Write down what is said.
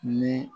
Ni